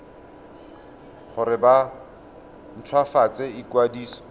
gore ba nt hwafatse ikwadiso